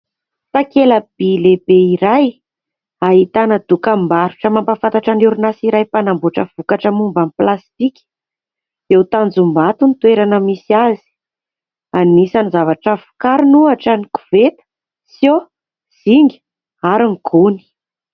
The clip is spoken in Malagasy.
Takelaby lehibe iray ahitana dokam-barotra mampahafantatra ny orinasy iray mpanamboatra vokatra momban'ny plastika eo Tanjombato ny toerana misy azy anisan'ny zavatra vokariny ohatra ny koveta, sio, zinga ary ny gony